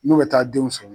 N'u bɛ taa denw sɔrɔ